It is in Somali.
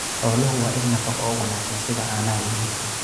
Xooluhu waa il nafaqo oo wanaagsan, sida caanaha iyo hilibka.